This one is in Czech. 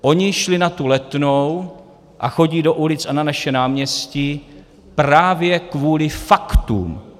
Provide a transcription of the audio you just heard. Oni šli na tu Letnou a chodí do ulic a na naše náměstí právě kvůli faktům.